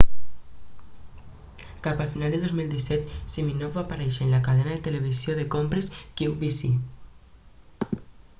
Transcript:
cap a finals de 2017 siminoff va aparèixer en la cadena de televisió de compres qvc